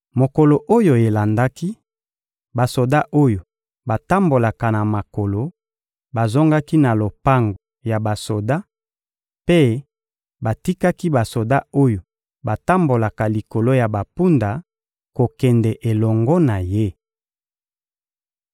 Mokolo oyo elandaki, basoda oyo batambolaka na makolo bazongaki na lopango ya basoda mpe batikaki basoda oyo batambolaka likolo ya bampunda kokende elongo na ye.